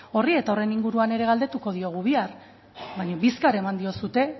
horri eta horren inguruan ere galdetuko diogu bihar baina bizkar eman diozue